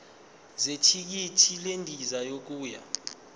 zethikithi lendiza yokuya